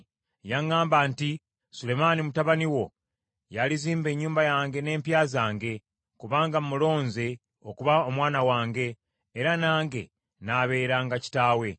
Yaŋŋamba nti, ‘Sulemaani mutabani wo y’alizimba ennyumba yange n’empya zange, kubanga mmulonze okuba omwana wange, era nange n’abeeranga kitaawe.